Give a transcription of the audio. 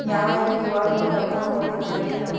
यहाँ एक Q _R code रखा हुआ दिखाई दे रहा--